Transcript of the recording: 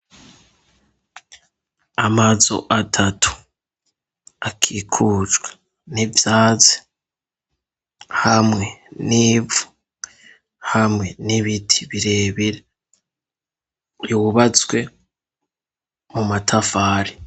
Amazu atatu akikujwe n'ivyatsi hamwe n'ivu, hamwe n'ibiti birebire, yubatswe mu matafari.